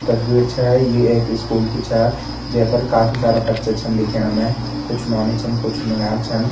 तस्वीर छ यु एक स्कूल की छ ये पर काफी सारा बच्चा दिखेणा मैं कुछ नौनी छन कुछ नौनियाल छन।